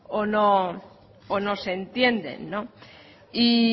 o no se entienden y